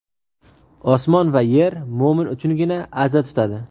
Osmon va yer mo‘min uchungina aza tutadi.